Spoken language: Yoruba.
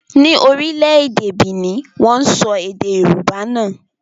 Ni orílẹ̀-èdè Benin, wọ́n sọ èdè Yorùbá nà.